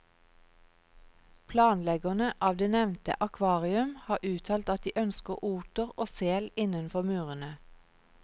Planleggerne av det nevnte akvarium har uttalt at de ønsker oter og sel innenfor murene.